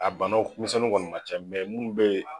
A banawmisɛnnu kɔni na ca mɛ munnu be yen